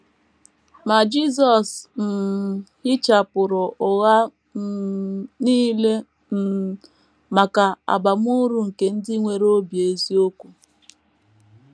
Ma Jisọs um hichapụrụ ụgha um nile um maka abamuru nke ndị nwere obi eziokwu.